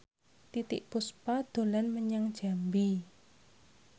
Titiek Puspa dolan menyang Jambi